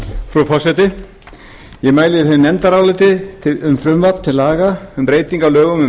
frú forseti ég mæli fyrir nefndaráliti um frumvarp til laga um breytingu á lögum um